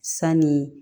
Sanni